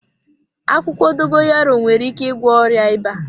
Akwụkwọ Dogoyaro nwere ike ịgwọ ọrịa ịba.